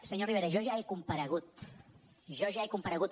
senyor rivera jo ja he com paregut jo ja he comparegut